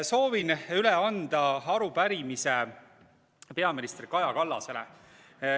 Soovin üle anda arupärimise peaminister Kaja Kallasele.